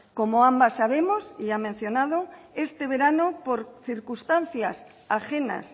como ambas sabemos y ha mencionado este verano por circunstancias ajenas